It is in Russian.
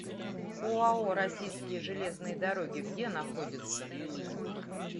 оао российские железные дороги где находится